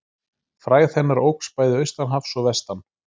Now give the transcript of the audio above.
Frægð hennar óx bæði austan hafs og vestan.